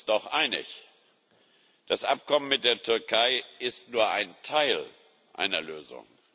Wir sind uns doch einig Das Abkommen mit der Türkei ist nur ein Teil einer Lösung.